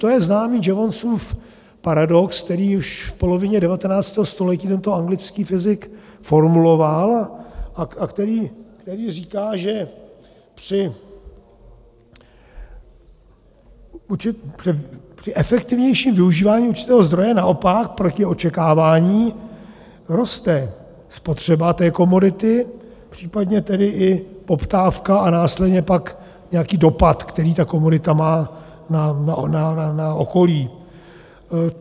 To je známý Jevonsův paradox, který už v polovině 19. století tento anglický fyzik formuloval a který říká, že při efektivnějším využívání určitého zdroje naopak proti očekávání roste spotřeba té komodity, případně tedy i poptávka a následně pak nějaký dopad, který ta komodita má na okolí.